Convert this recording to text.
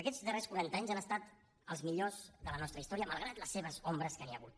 aquests darrers quaranta anys han estat els millors de la nostra història malgrat les seves ombres que n’hi ha hagut